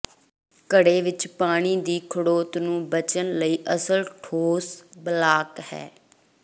ਘੜੇ ਵਿੱਚ ਪਾਣੀ ਦੀ ਖੜੋਤ ਨੂੰ ਬਚਣ ਲਈ ਅਸਲ ਠੋਸ ਬਲਾਕ ਹੈ